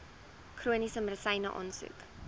chroniese medisyne aansoek